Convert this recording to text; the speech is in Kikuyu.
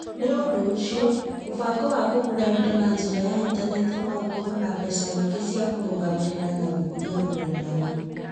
Nĩ ũndũ ũcio, mũbango wa kũgũra indo na njĩra ya Intaneti no ũkorũo na mbeca nyingĩ cia kũrũgamĩrĩra na gũkũria rũrenda rou.